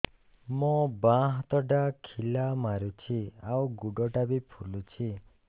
ମୋ ବାଆଁ ହାତଟା ଖିଲା ମାରୁଚି ଆଉ ଗୁଡ଼ ଟା ଫୁଲୁଚି